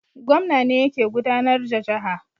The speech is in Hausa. Gwamna ne yake gudAnar da jaha